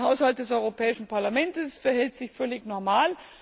Der Haushalt des Europäischen Parlaments verhält sich völlig normal.